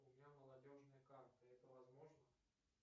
у меня молодежная карта это возможно